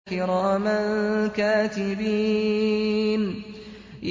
كِرَامًا كَاتِبِينَ